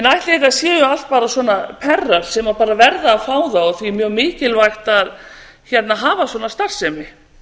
ætli þetta séu allt bara svona perrar sem bara verði að fá það og því mjög mikilvægt að hafa svona starfsemi